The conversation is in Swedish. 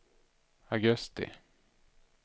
augusti